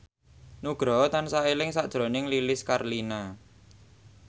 Nugroho tansah eling sakjroning Lilis Karlina